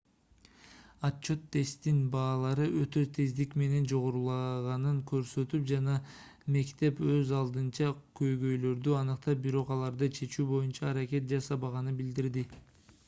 отчёт тесттин баалары өтө тездик менен жогорулаганын көрсөтүп жана мектеп өз алдынча көйгөйлөрдү аныктап бирок аларды чечүү боюнча аракет жасабаганы билдирилди